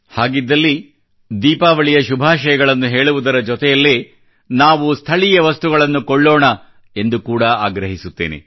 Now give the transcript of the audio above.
ಹಾಗಿದ್ದಲ್ಲಿ ದೀಪಾವಳಿಯ ಶುಭಾಶಯಗಳನ್ನು ಹೇಳುವುದರ ಜೊತೆಯಲ್ಲೇ ನಾವು ಸ್ಥಳೀಯ ವಸ್ತುಗಳನ್ನು ಕೊಳ್ಳೋಣ ಕೂಡಾ ಎಂದು ಆಗ್ರಹಿಸುತ್ತೇನೆ